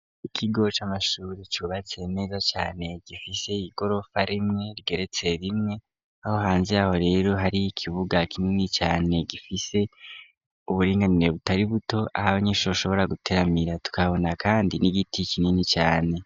Ikigo c'amashure cubatse neza cane gifise igorofa rimwe rigeretse rimwe aho hanze aho rero hari ikibuga kinini cane gifise uburinganire butari buto aho abanyeshure bashobora gutaramira tukabona kandi n'igiti kinini cane.